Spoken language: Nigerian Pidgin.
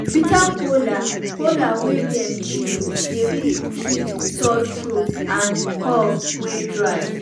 ginger wey dem boil dey um fight period pain um and anything wey dey disturb belle. um